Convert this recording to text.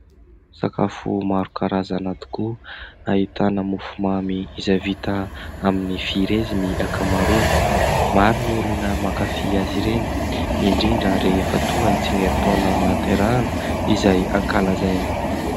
Sakafo maro karazana tokoa ahitana mofomamy izay vita amin'ny frezy ny ankamaroany. Maro ny olona mankafy azy ireny indrindra rehefa tonga ny tsingerintaona nahaterahana izay ankalazaina.